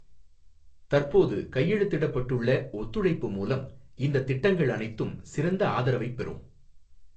தற்போது கைழுத்திடப்பட்டுள்ள ஒத்துழைப்பு மூலம் இந்த திட்டங்கள் அனைத்தும் சிறந்த ஆதரவைப் பெறும்.